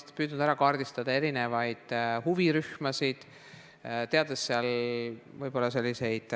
Oleme püüdnud kaardistada huvirühmi ja käsitleda selliseid